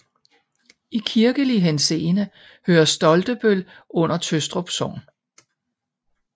I kirkelig henseende hører Stoltebøl under Tøstrup Sogn